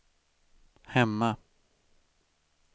hemma